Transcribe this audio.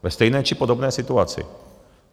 Ve stejné či podobné situaci.